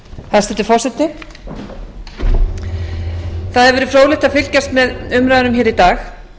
hæstvirtur forseti það hefur verið fróðlegt að fylgjast með umræðunum í dag og